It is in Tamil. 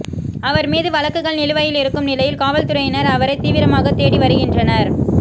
அவர் மீது வழக்குகள் நிலுவையில் இருக்கும் நிலையில் காவல்துறையினர் அவரை தீவிரமாக தேடி வருகின்றனர்